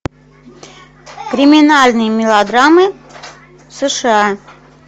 криминальные мелодрамы в сша